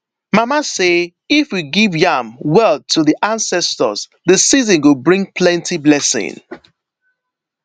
mama say if we give yam well to the ancestors the season go bring plenty blessing